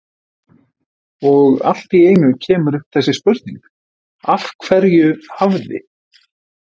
Og allt í einu kemur upp þessi spurning: Af hverju hafði